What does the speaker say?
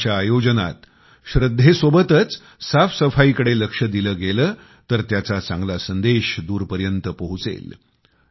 कुंभाच्या आयोजनात स्वच्छतेसोबतच साफसफाईकडे लक्ष दिलं गेलं तर त्याचा चांगला संदेश दूरपर्यत पोहोचेल